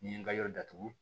N'i ye n ka yɔrɔ